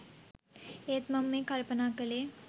ඒත් මම මේ කල්පනා කලේ